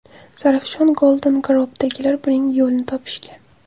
Zarafshan Golden Group’dagilar buning yo‘lini topishgan.